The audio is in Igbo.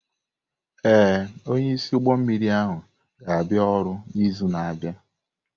Ee, onyeisi ụgbọ mmiri ahụ ga-abịa ọrụ n'izu na-abịa.